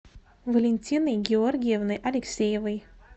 валентиной георгиевной алексеевой